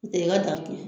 N tɛ i ka dakun